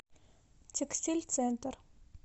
текстиль центр